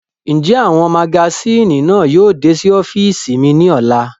Njẹ awọn magasini náa yóò de si ọfiisi mi ni ọla?